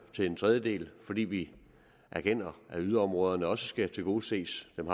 til en tredjedel fordi vi erkender at yderområderne også skal tilgodeses dem